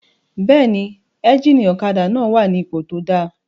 Bẹ́ẹ̀ni, éjìnì ọ̀kadà náà wà ní ipò tó dáa